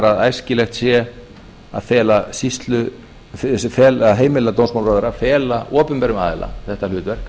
að æskilegt sé að heimila dómsmálaráðherra að fela opinberum aðila þetta hlutverk